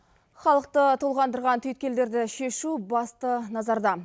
халықты толғандырған түйіткелдерді шешу басты назарда